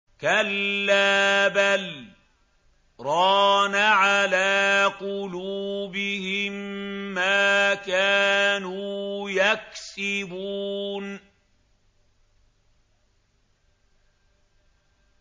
كَلَّا ۖ بَلْ ۜ رَانَ عَلَىٰ قُلُوبِهِم مَّا كَانُوا يَكْسِبُونَ